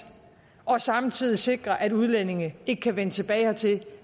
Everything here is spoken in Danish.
og samtidig sikre at udlændinge ikke kan vende tilbage hertil